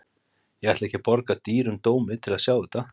Ég ætla ekki að borga dýrum dómi til að sjá þetta.